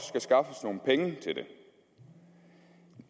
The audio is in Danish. skaffes nogle penge til det